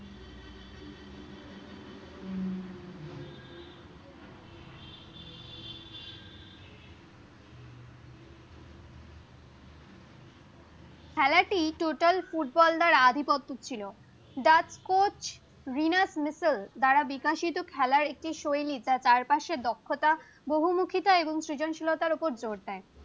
খেলাটি টোটাল ফুটবলারদের আধিপত্য ছিল দা কোচ দিনাস মিচেল দ্বারা বিকশিত খেলার একটি সৈনিক যার চারপাশে দক্ষতা বহুমুখিতা এবং সৃজনশীলতার ওপর দৌড় দেয়